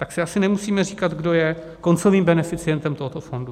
Tak si asi nemusíme říkat, kdo je koncovým beneficientem tohoto fondu.